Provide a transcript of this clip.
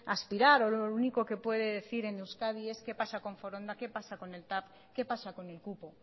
aspirar o lo único que puede decir es qué pasa con foronda qué pasa con el tav qué pasa con el cupo